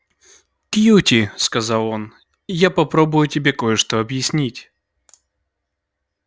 кьюти сказал он я попробую тебе кое-что объяснить